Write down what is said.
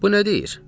Bu nə deyir?